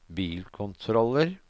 bilkontroller